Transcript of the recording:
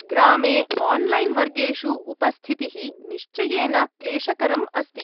ग्रामे आन्लैन् वर्गेषु उपस्थितिः निश्चयेन क्लेशकरम् अस्ति।